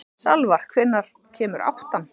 Salvar, hvenær kemur áttan?